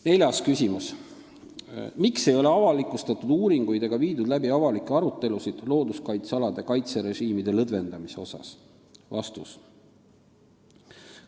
Neljas küsimus: "Miks ei ole avalikustatud uuringuid ega viidud läbi avalikke arutelusid looduskaitsealade kaitserežiimide lõdvendamise osas?